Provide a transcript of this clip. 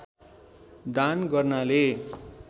दान गर्नाले